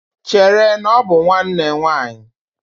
Chere, na ọ bụ nwanne nwaanyị!